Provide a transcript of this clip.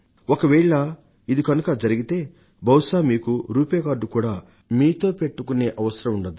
ఒకవేళ ఇది కనుక జరిగితే బహుశా మీకు రూపే కార్డును మీతో కూడా అట్టిపెట్టుకునే పని ఉండదు